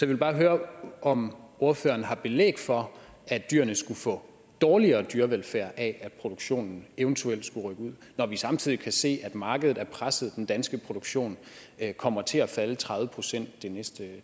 vil bare høre om ordføreren har belæg for at dyrene skulle få dårligere dyrevelfærd af at produktionen eventuelt skulle rykke ud når vi samtidig kan se at markedet er presset den danske produktion kommer til at falde med tredive procent det næste